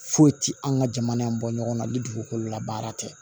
Foyi tɛ an ka jamana in bɔ ɲɔgɔn na ni dugukolo labaara tɛ